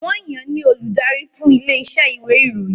Wọ́n yan ní olùdarí fún ilé iṣẹ́ ìwé ìròyìn